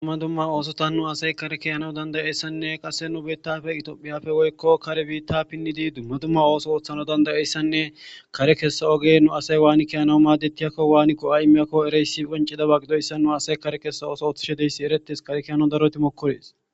Dumma dumma oosota nu asay kare kiyanao dandayessanne qasse nu bettafe itoophiyafe woykko kare biitta pinnidi dumma dumma ooso ooththana dandayeyssanne kare kessa oge nu asay waani kiyana maadettiyakko waani ko'a imeyakko ereyssi qoncida ba gidoyssa nu asay kare kessa oso ooththishe deyssi eretes kare kiyanawu daroti mokkorees